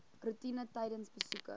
roetine tydens besoeke